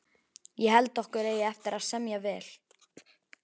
Ég held okkur eigi eftir að semja vel